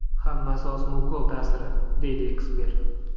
Hammasi osma ukol ta’siri”, deydi ekspert.